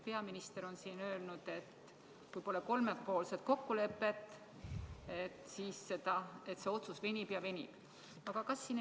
Peaminister on siin öelnud, et kui pole kolmepoolset kokkulepet, siis see otsuse tegemine venib ja venib.